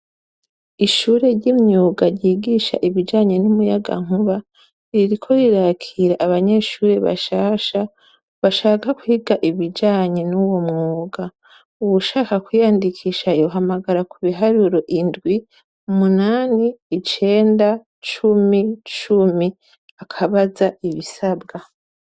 Ishure ry’imyuga ryigisha ibijanye n’umuyagankuba, ririko rirakira abanyeshure bashasha ,bashaka kwiga ibijanye nuwo mwuga. Uwushaka kwiyandikisha yohamagara kubiharuro indwi, umunani , icenda, cumi , cumi, akabaza ibisabwa.